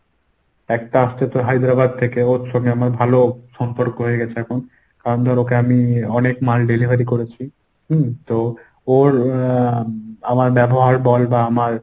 একটা আসছে তোর হায়দ্রাবাদ থেকে ওর সঙ্গে আমার ভালো সম্পর্ক হয়ে গেছে এখন। কারণ ধর ওকে আমি অনেক মাল delivery করেছি হম তো ওর আহ আমার ব্যবহার বল বা আমার